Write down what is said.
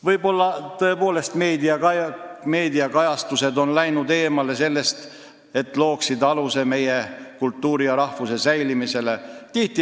Võib-olla on ka meie meediakajastused läinud eemale sellest, et luua alus meie kultuuri ja rahvuse säilimisele.